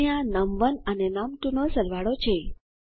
અને આ નમ1 અને નમ2 નો સરવાળો છે